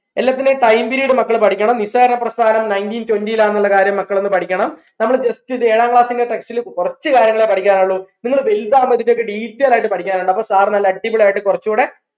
എല്ലത്തിന്റെയും time period മക്കൾ പഠിക്കണം നിസ്സാര പ്രസ്ഥാനം nineteen twenty ലാ ന്നുള്ള കാര്യം മക്കൾ ഒന്ന് പഠിക്കണം നമ്മൾ jsut ഇത് ഏഴാം class ന്റെ text ൽ കുറച്ചു കാര്യങ്ങളെ പഠിക്കാനുള്ളൂ നിങ്ങളെ വലുതാകുമ്പോഴത്തേക്ക് detail ആയിട്ട് പഠിക്കാനുണ്ട് അപ്പൊ sir നല്ല അടിപൊളിയായിട്ട് കുറച്ചും കൂടെ